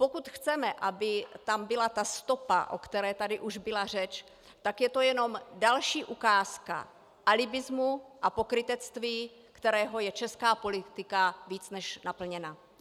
Pokud chceme, aby tam byla ta stopa, o které tady už byla řeč, tak je to jenom další ukázka alibismu a pokrytectví, kterým je česká politika víc než naplněna.